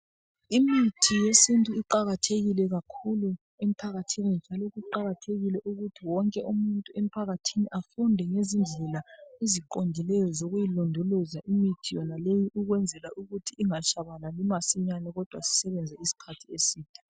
Imithi yesintu iqakathekile kakhulu emphakathini njalo kuqakathekile ukuthi wonke umuntu emphakathini afunde ngezindlela eziqondileyo zokuyilondoloza imithi yonaleyi ukwenzela ukuthi ingatshabalali masinyane, kodwa isebenze isikhathi eside.